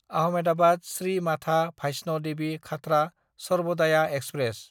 आहमेदाबाद–श्री माथा भाइस्न देबि खाथ्रा सर्बदाया एक्सप्रेस